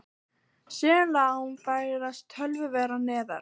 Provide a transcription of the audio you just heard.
Sum lán færist töluvert neðar.